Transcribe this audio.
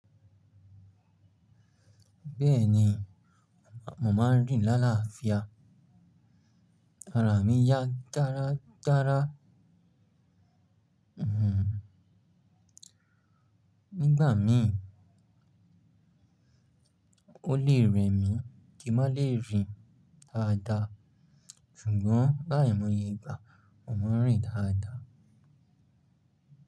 Bẹ́ẹ̀ni, mo máa ń rìn lálááfíà, ara mi yá dára dára. Hmm. Nígbà mìí, ó lè rẹ mí kí n má lè rìn dáadáa. Sugbo l'áìmoye igba, mo mo ń rìn dáada.